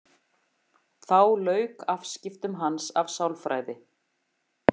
Þá lauk afskiptum hans af sálfræði.